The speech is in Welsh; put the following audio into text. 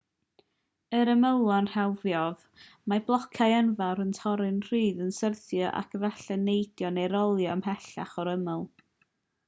ar ymylon rhewlifoedd mae blociau enfawr yn torri'n rhydd yn syrthio ac efallai'n neidio neu rolio ymhellach o'r ymyl